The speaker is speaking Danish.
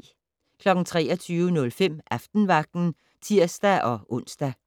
23:05: Aftenvagten (tir-ons)